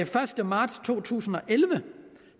første marts to tusind og elleve